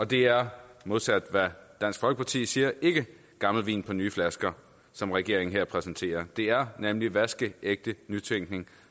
det er modsat hvad dansk folkeparti siger ikke gammel vin på nye flasker som regeringen her præsenterer det er nemlig vaskeægte nytænkning